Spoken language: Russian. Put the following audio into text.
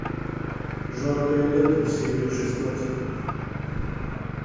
жаркое лето серия шестнадцать